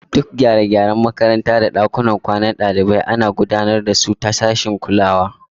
Duk gyare-gyaren makaranta da ɗakunan kwanan ɗalibai ana gudanar da su ta sashin kulawa.